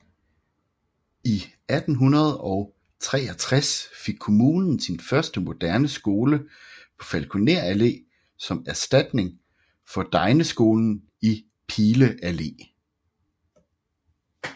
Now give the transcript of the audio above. I 1863 fik kommunen sin første moderne skole på Falkoner Allé som erstatning for degneskolen i Pile Allé